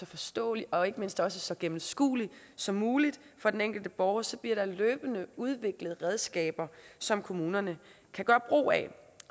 forståelig og ikke mindst også så gennemskuelig som muligt for den enkelte borger så der bliver løbende udviklet redskaber som kommunerne kan gøre brug af